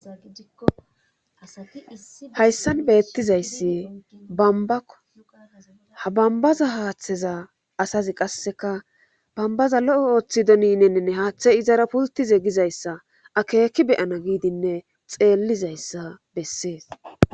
Hayssan beettizayssi bambbako ha bambbaza haatheza asazi qasseka bambbazi lo7o oothidoneni haathe izara pude pulttize gizayssa akeeki be7ana giidinne xeellizayssa bessees.